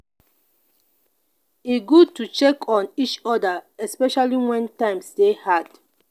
e good to check on each other especially when times dey hard.